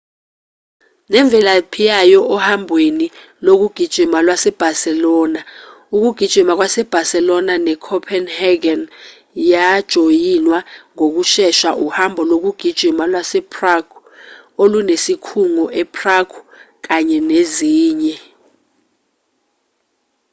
nemvelaphi yayo ohambweni lokugijima lwase-barcelona ukugijima kwase-barcelona ne-copenhagen yajoyinwa ngokushesha uhambo lokugijima lwase-prague olunesikhungo e-prague kanye nezinye